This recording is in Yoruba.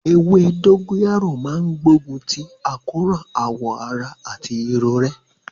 Ewé dógóyárò máa ń gbógun ti àkóràn awọ ara àti irorẹ́